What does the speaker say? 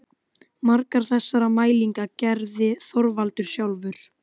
Margar þessara mælinga gerði Þorvaldur sjálfur.